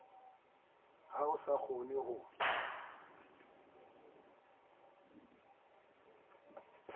ha ho sa kgonwe ho